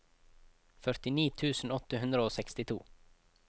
førtini tusen åtte hundre og sekstito